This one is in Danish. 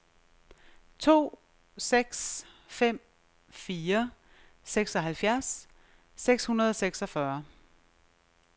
to seks fem fire seksoghalvfjerds seks hundrede og seksogfyrre